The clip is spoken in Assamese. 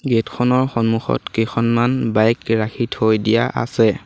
গেট খনৰ সন্মুখত কেইখনমান বাইক ৰাখি থৈ দিয়া আছে।